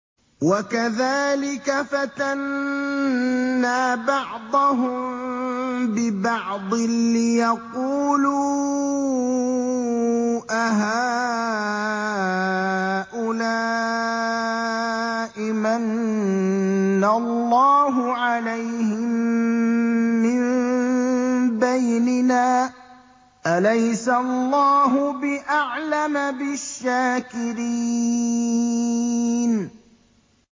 وَكَذَٰلِكَ فَتَنَّا بَعْضَهُم بِبَعْضٍ لِّيَقُولُوا أَهَٰؤُلَاءِ مَنَّ اللَّهُ عَلَيْهِم مِّن بَيْنِنَا ۗ أَلَيْسَ اللَّهُ بِأَعْلَمَ بِالشَّاكِرِينَ